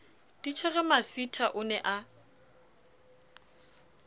titjhere masitha o ne a